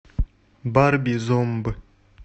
барби зомб